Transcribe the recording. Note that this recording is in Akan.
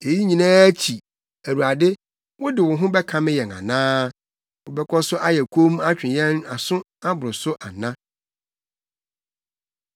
Eyi nyinaa akyi, Awurade, wode wo ho bɛkame yɛn ana? Wobɛkɔ so ayɛ komm atwe yɛn aso aboro so ana?